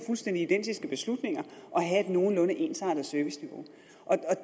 fuldstændig identiske beslutninger at have et nogenlunde ensartet serviceniveau